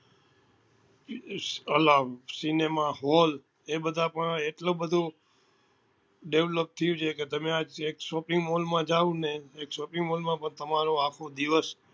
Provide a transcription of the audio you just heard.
cinema hall એ બધા પણ એટલું બધું develop થયું છે કે તમે આજ એક shopping mall જાઓ ને તો shopping mall માં પણ તમારો આખો દિવસ